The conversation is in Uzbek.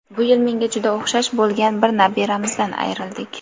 bu yil menga juda o‘xshash bo‘lgan bir nabiramizdan ayrildik.